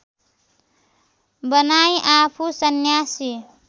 बनाई आफू सन्यासी